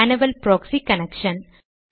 manual proxy connection